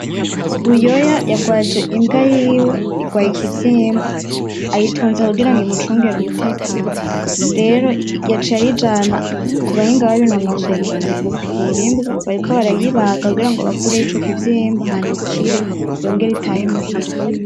Buyoya yarwaje imbwa yiwe, irwaye ikivyimba ayitunze kugirango umucungere umutekano rero yaciye ayijana kubahinga babinonosoye mukuvura imbwa , bariko barayibaga kugirango bakureyo ico kivyimba hama ikire yongere itahe muhira .